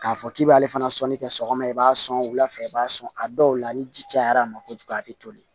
K'a fɔ k'i b'ale fana sɔni kɛ sɔgɔma i b'a sɔn wula fɛ i b'a sɔn a dɔw la ni ji cayara a ma kojugu a te toli